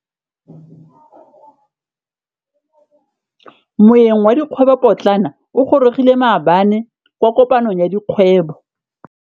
Moêng wa dikgwêbô pôtlana o gorogile maabane kwa kopanong ya dikgwêbô.